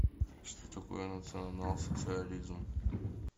что такое национал социализм